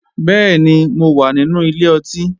Bẹ́ẹ̀ni, mo wà nínú ilé ọtí